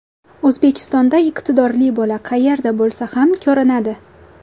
O‘zbekistonda iqtidorli bola qayerda bo‘lsa ham ko‘rinadi.